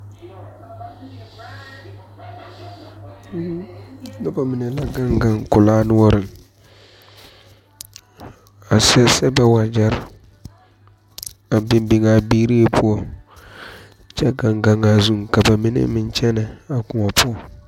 Noba mine la gane gane kulaa noɔre ,a seɛ seɛ ba wagyere a biŋ biŋe beeri poɔ, kyɛ gan gan a zuŋ ka ba mine meŋ kyɛne a kõɔ poɔ.